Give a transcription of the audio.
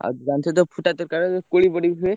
ଆଉ ଜାଣିଛତ ଫୁଟା ତରକାରୀ ଯୋଉ କୋଳି ପଡିକି ହୁଏ।